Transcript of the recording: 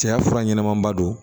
Cɛya fura ɲɛnɛmanba don